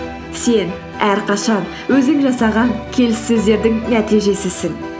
сен әрқашан өзің жасаған келіссөзердің нәтижесісің